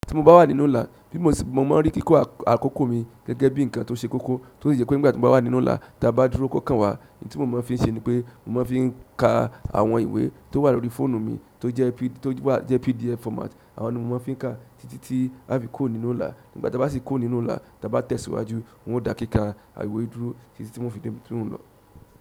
Tí mo bá wà nínú ìlà, bí mo ṣe máa ń rí kíkọ́ àkókò mi gẹ́gẹ́ bí nǹkan tó ṣe kókó, tó sì jẹ́ pé nígbà tí mo bá wà nínú ìlà táa bá dúró kó kàn wá, ohun tí mo máa ń fi ṣe ni pé mo máa ń fi ka àwọn ìwé tó wà lórí fóònù mi tó jẹ́ PDF format. Àwọn ni mo máa fi ń kà, títí tí aá fi kúrò nínú ìlà. Nígbà táa bá sì kúrò nínú ọ́lá, tí a bá tẹ̀síwájú n ó dá kíkà ìwé dúró títí tí n ó fi débi tí ń lọ.